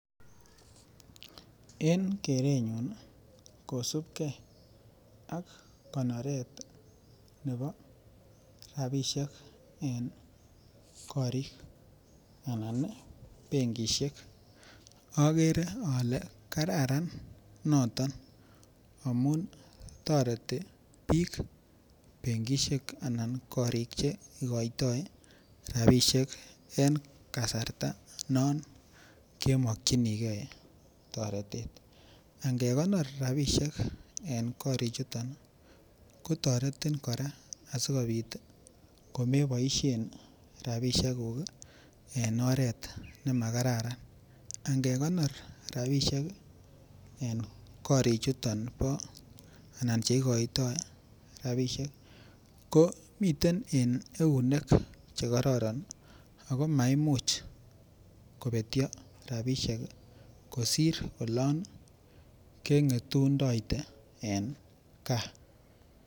En kerenyun kosubge ak konoret ab rabisiek en benkisiek anan korik agere ale kararan noton amun toreti bik korik Che igoitoi rabisiek en kasarta non kemokyinige toretet ange konor rabisiek en korichuto kotoretin kora asikobit komeboisien rabisiekuk en oret ne makararan angekonor rabisiek en korichuto igoitoi rabisiek ko miten en eunek Che kororon ako maimuch kobetyo rabisiek kosir olon kengetunde en gaa